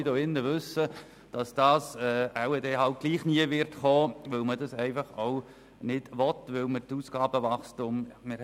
Wir alle wissen, dass es trotzdem nie geschehen wird, weil es auch nicht gewünscht und stattdessen ein Ausgabenwachstum propagiert wird.